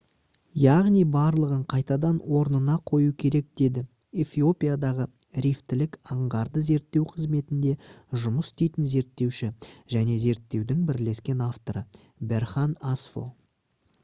«яғни барлығын қайтадан орнына қою керек» - деді эфиопиядағы рифтілік аңғарды зерттеу қызметінде жұмыс істейтін зерттеуші және зерттеудің бірлескен авторы берхан асфо